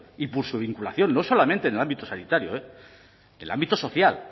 y por su vinculación no solamente en el ámbito sanitario en el ámbito social